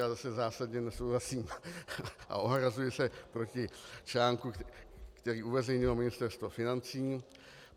Já zase zásadně nesouhlasím a ohrazuji se proti článku, který uveřejnilo Ministerstvo financí.